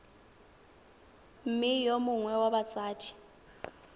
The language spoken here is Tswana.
mme yo mongwe wa batsadi